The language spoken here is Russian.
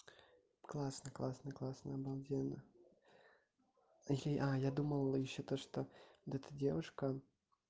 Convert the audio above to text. классный классный классный обалденно а я думал ещё то что вот эта девушка